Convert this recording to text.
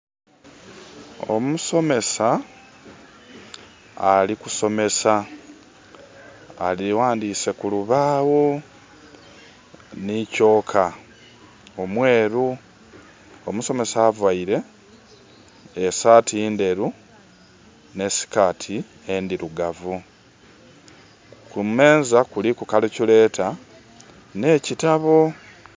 Omusomesa ali kusomesa, aghandhiise ku lubaagho ni kyooka omweeru. Omusomesa availe e saati ndheru nhe skirt endhirugavu. Kumeeza kuliku calculator nh'ekitabo.